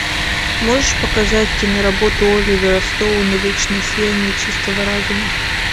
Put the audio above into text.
можешь показать киноработу оливера стоуна вечное сияние чистого разума